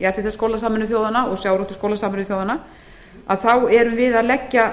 jarðhitaskóla sameinuðu þjóðanna og sjávarútvegsskóla sameinuðu þjóðanna að þá erum við að leggja